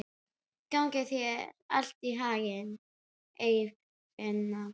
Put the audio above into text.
Gangi þér allt í haginn, Eirfinna.